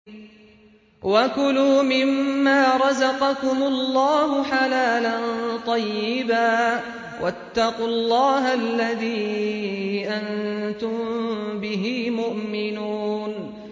وَكُلُوا مِمَّا رَزَقَكُمُ اللَّهُ حَلَالًا طَيِّبًا ۚ وَاتَّقُوا اللَّهَ الَّذِي أَنتُم بِهِ مُؤْمِنُونَ